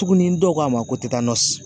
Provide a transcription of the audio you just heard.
Tuguni dɔw ko a ma ko tɛ taa